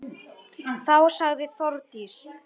Þá sagði Þórdís: